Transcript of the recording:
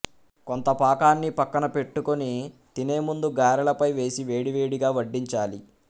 కొంత పాకాన్ని పక్కన పెట్టుకుని తినే ముందు గారెల పై వేసి వేడివేడిగా వడ్డించాలి